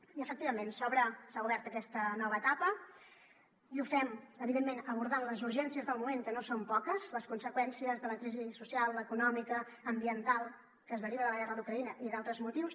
i efectivament s’obre s’ha obert aquesta nova etapa i ho fem evidentment abordant les urgències del moment que no són poques les conseqüències de la crisi social econòmica ambiental que es deriva de la guerra d’ucraïna i d’altres motius